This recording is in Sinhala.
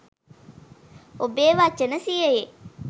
ඔබේ වචන සියයේ